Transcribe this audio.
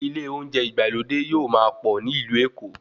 Ilé olóúnjẹ ìgbàlódé yóò máa pọ̀ ní ìlú Èkó